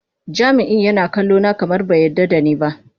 Jami'in yana kallona kamar bai yarda da ni ba.